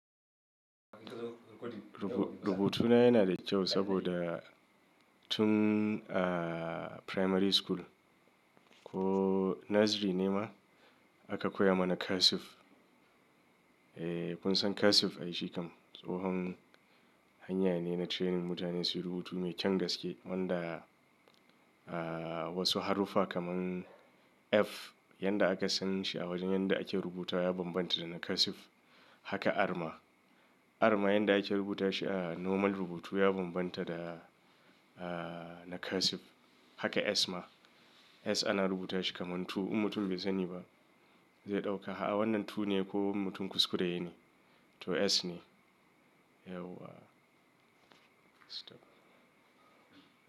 Rubutuna yana da kyau saboda tun a primary school ko nursery ne ma aka koya mana cursive. Eh, kun san cursive? Ai shi kam tsohon hanya ne na training mutane su yi rubutu mai kyan gaske wanda, ah, wasu haruffa kamar “F” yanda aka san shi a wajen yanda ake rubuta ya bambanta da na cursive. Haka “R” ma. “R” ma yanda ake rubuta shi a normal rubutu ya bambanta da, ah, na cursive. Haka “S” ma. “S” ana rubuta shi kamar biyu. In mutum bai sani ba zai ɗauka, “Ah wannan biyu ne ko mutum kuskure yayi ne?” To “S” ne. Yau wa.